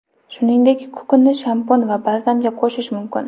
Shuningdek, kukunni shampun va balzamga qo‘shish mumkin.